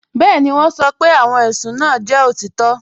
Bẹẹni, wọn sọ́ pé awọn ẹṣùn náà jẹ́ otitọ